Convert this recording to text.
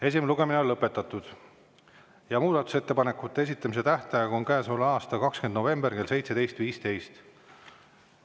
Esimene lugemine on lõpetatud ja muudatusettepanekute esitamise tähtaeg on käesoleva aasta 20. november kell 17.15.